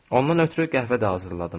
Ondan ötrü qəhvə də hazırladım.